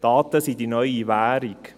Daten sind die neue Währung.